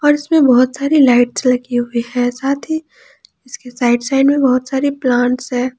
और इसमें बहुत सारी लाइट्स लगी हुईं हैं साथ ही इसके साइड साइड मे बहुत सारी प्लांट्स है।